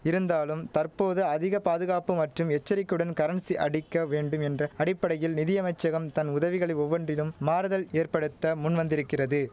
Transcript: இருந்தாலும் தற்போது அதிக பாதுகாப்பு மற்றும் எச்சரிக்கையுடன் கரன்சி அடிக்க வேண்டும் என்ற அடிப்படையில் நிதியமைச்சகம் தன் உதவிகள் ஒவ்வொன்றிலும் மாறுதல் ஏற்படுத்த முன்வந்திருக்கிறது